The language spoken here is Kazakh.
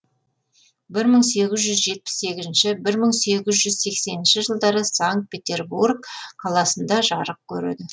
бір мың сегіз жүз жетпіс сегізінші бір мың сегіз жүз сексенінші жылдары санкт петербург қаласында жарық көреді